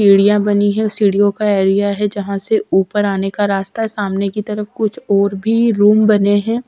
सीढ़ियां बनी है सीढ़ियों का एरिया है जहां से ऊपर आने का रास्ता है सामने की तरफ कुछ और भी रूम बने है।